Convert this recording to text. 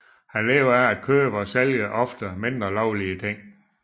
Han lever af at købe og sælge ofte mindre lovlige ting